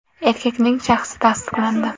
Erkakning shaxsi tasdiqlandi.